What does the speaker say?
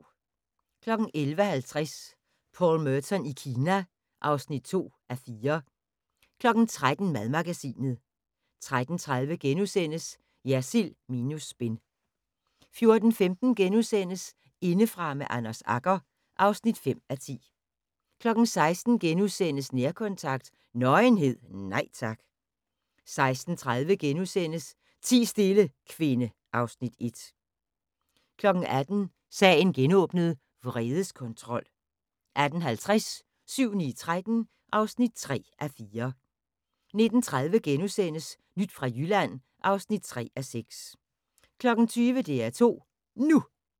11:50: Paul Merton i Kina (2:4) 13:00: Madmagasinet 13:30: Jersild minus spin * 14:15: Indefra med Anders Agger (5:10)* 16:00: Nærkontakt – Nøgenhed, nej tak * 16:30: Ti stille, kvinde (Afs. 1)* 18:00: Sagen genåbnet: Vredeskontrol 18:50: 7-9-13 (3:4) 19:30: Nyt fra Jylland (3:6)* 20:00: DR2 NU